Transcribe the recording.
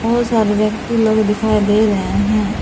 बहोत सारे व्यक्ति लोग दिखाई दे रहे हैं।